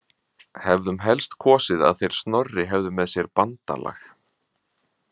Hefðum helst kosið að þeir Snorri hefðu með sér bandalag.